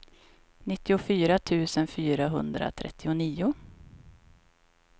nittiofyra tusen fyrahundratrettionio